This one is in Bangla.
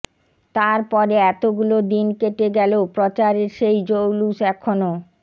তার পরে এতগুলো দিন কেটে গেলেও প্রচারের সেই জৌলুস এখনও